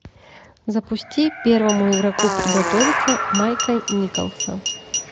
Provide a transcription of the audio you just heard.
запусти первому игроку приготовиться майка николса